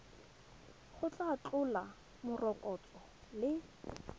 go tla tlhola morokotso le